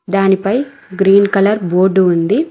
దానిపై green colour board ఉంది.